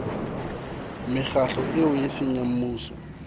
mekgatlo eo eseng ya mmuso